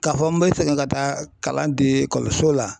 K'a fɔ n bɛ segin ka taa kalan di ekɔliso la